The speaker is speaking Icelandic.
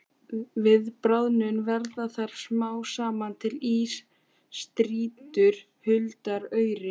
Við bráðnun verða þar smám saman til ísstrýtur huldar auri.